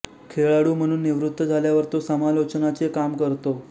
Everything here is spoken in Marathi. खेळाडू म्हणून निवृत्त झाल्यावर तो समालोचनाचे काम करतो